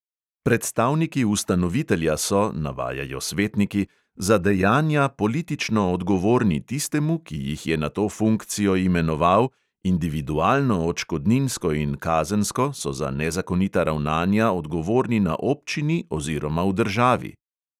Predstavniki ustanovitelja so, navajajo svetniki, "za dejanja politično odgovorni tistemu, ki jih je na to funkcijo imenoval, individualno odškodninsko in kazensko so za nezakonita ravnanja odgovorni na občini oziroma v državi".